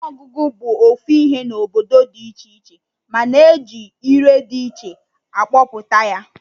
Ọtụtụ ọnụ ọgụgụ bụ ofu ihe na obodo dị iche iche, mana eji ire dị iche akpọpụta ya